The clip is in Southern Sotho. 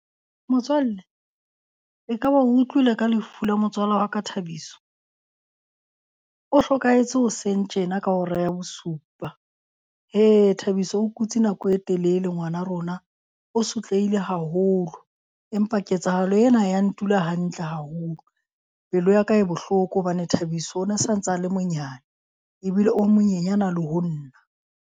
Motswalle ekaba o utlwile ka lefu la motswala wa ka Thabiso? O hlokahetse hoseng tjena ka hora ya bosupa. Hee Thabiso o kutse nako e telele ngwana rona o sotlehile haholo. Empa ketsahalo ena ha ya ntula hantle haholo. Pelo ya ka e bohloko hobane Thabiso o na santsa a le monyane ebile o monyenyana le ho nna.